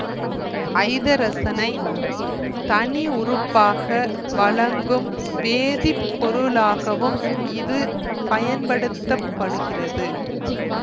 ஐதரசனை தனி உறுப்பாக வழங்கும் வேதி பொருளாகவும் இது பயன்படுத்த படுகிறது